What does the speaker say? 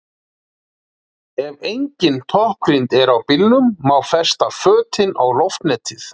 Ef engin toppgrind er á bílnum má festa fötin á loftnetið.